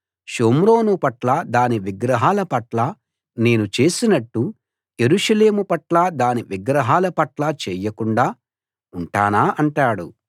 షోమ్రోను పట్ల దాని విగ్రహాల పట్ల నేను చేసినట్టు యెరూషలేము పట్ల దాని విగ్రహాల పట్ల చెయ్యకుండా ఉంటానా అంటాడు